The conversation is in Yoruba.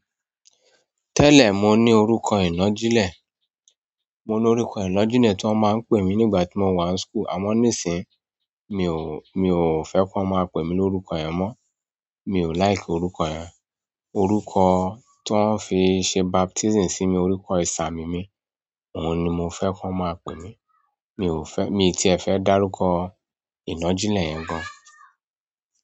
Tẹlẹ mo ní orúkọ inagijẹ. Mo ní orúkọ ìnágijẹ̀ tí wọ́n máa ń pè mí nígbà tí mo wà ní school. Àmọ́ nísìí, mi ò, mi ò fẹ́ kí wọ́n máa pè mí ní orúkọ yẹn mọ́. Mi ò like orúkọ yẹn. Orúkọ tó ń fi ṣe baptism sí mi, orúkọ ìsà mímì, òun ni mo fẹ́ kí wọ́n máa pè mí. Mi ò fẹ́-- mi tí ẹ fẹ́ dárúkọ ìnágijẹ̀ yẹn gan.